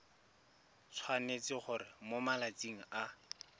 tshwanetse gore mo malatsing a